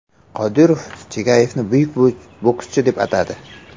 Qodirov Chagayevni buyuk bokschi deb atadi.